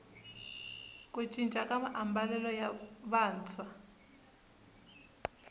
ku cinca ka maambalelo ya vantshwa